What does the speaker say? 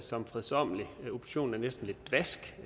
som fredsommeligt oppositionen er næsten lidt dvask